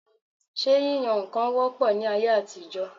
Ṣé yíyan nǹkan wọ́ pọ̀ ní ayé àtijọ?